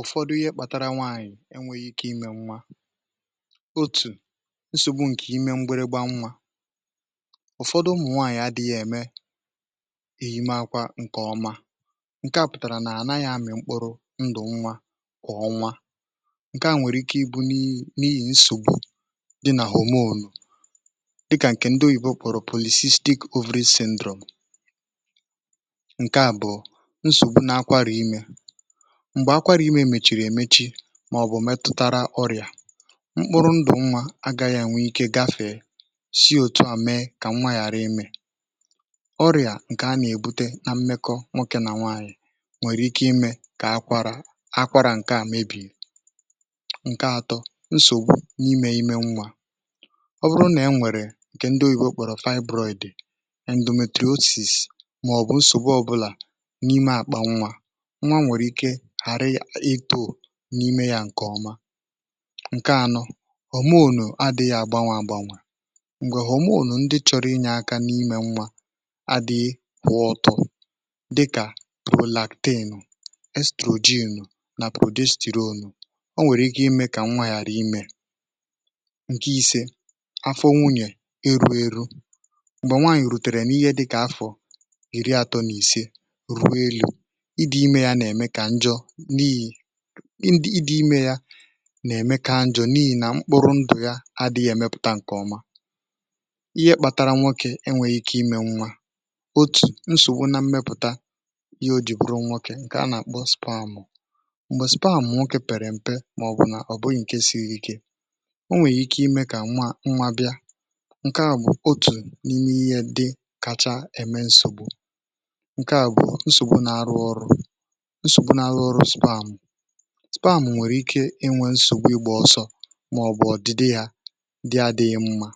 Ụ̀fọdụ ihé kpatara nwaanyị̀ enwėghi̇ ike imė nwa. Otù nsògbu ǹkè ime mgbịrịgba nwa, ụ̀fọdụ ụmụ̀ nwaanyị̀ adị̇ghị̇ ème èyime akwȧ ǹkè ọma ǹke à pụ̀tàrà nà ànaghị̇ amị̀ mkpụrụ ndụ̀ nwa kwà ọnwa ǹke à nwèrè ike ịbụ̇ n’ihì nsògbu dị nà homonu dịkà ǹkè ndị òyibo kpọ̀rọ̀ polycystic ovary syndrome. Nkè abụọ nsogbu na akwàrà imė, mgbé akwara ímé mèchìrì èmechi màọ̀bụ̀ metụtara ọrịà mkpụrụ̇ ndụ̀ nwȧ agaghị̇ ènwe ike gafè si ȯtù à mee kà nwa yàra imė. Ọrịà ǹkè a nà-èbute na mmekọ nwokė nà nwaanyị̀ nwèrè ike imė kà akwara akwara ǹke à mebì. Nkè atọ nsògbu n’imė imė nwa, ọ bụrụ nà e nwèrè ǹkè ndị oyìbo kpọ̀rọ̀ fibroid, endometriosis maọbu nsogbu ọbụla n'ime akpà nwà, nwa nwèrè ike hàrị itȯ n’ime yȧ ǹkè ọma, Nkè anọ homonu adị̇ghị̇ àgbanwè àgbanwè mgbè homonu ndị chọ̀rọ̀ inyė aka n’imė nwa adịghị kwụọ ọtụ̀ dịkà prolaktin, estrogin nà prodesterone, ọ nwèrè ike imė kà nwa yàrà imė. Nke ise afọ nwunyè eru eru, m̀gbè nwaànyì rùtèrè n’ihé dịkà afọ̀ iri àtọ nà ìse rue élú ịdị imė yȧ nà-ème kà njọ̇ n’ihì ịdị ímé yá nà emé kà njọ n'ihi nà mkpụrụ ndụ̀ ya adịghị̇ èmepụ̀ta ṅ̀kè ọma. Ihé kpàtàrà nwokè enwéghị ike imė nwa otù, nsògbu na mmepụ̀ta ihé o jì bụ̀rụ nwokè ǹkè a nà àkpọ spamụ, m̀gbè spamụ nwokè pèrè m̀pe màọ̀bụ̀ nà ọ̀ bụghị̇ ǹke siri ike o nweghi ike imė kà nwa nwȧ bịa ǹke à bụ̀ otù n’ime ihé dị̇ kacha ème nsògbu. Nkè abụọ nsògbu n’arụ ọrụ nsogbu n’arụ ọrụ spamụ, spamụ nwèrè ike inwė nsògbu ịgba ọ̀sọ̇ màọ̀bụ̀ ọ̀dịdị yá dị à dịghị mmȧ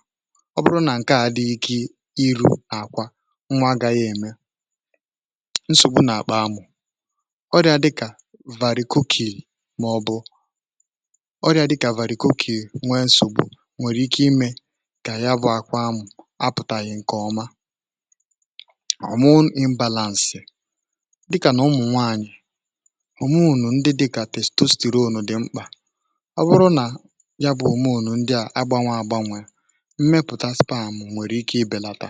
ọ bụrụ nà ǹke à dịghị ike iru̇ àkwa nwà agȧghị̇ ème. Nsògbu nà-àkpa amụ̇, ọrịa dịkà varị̀ kòkì màọ̀bụ̀ ọrịa dịkà varị̀ kòkì nwee nsògbu nwèrè ike imė kà yá bụ̇ akpa amụ̇ apụ̀tàghị̀ nkè ọma. Homon ị̇mbàlàǹsị̀, dị kà nụ ụmụ nwanyị homonu ndị dịkà testosteronu dị mkpà ọ wụrụ nà ya bụ̇ homonu ndị à agbanwe àgbanwe mmepụ̀ta spamụ nwèrè ike ibèlàtà.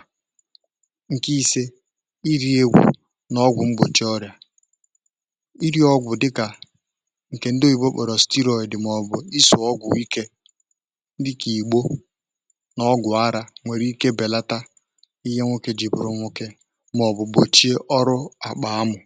Ṅkè isė ìri ehù n’ọgwụ̀ mgbòchi ọrị̀à, ìri ọgwụ̀ dị̀kà ǹkè ndị òyibo kpọrọ steroid màọbụ̀ isụ̀ ọgwụ̀ ikė dịka ìgbo n’ọgwụ̀ arȧ nwèrè ike bèlàtà ìhè nwoke ji bụ̀rụ nwoke màọbụ̀ gbòchie ọrụ àkpà amụ̀.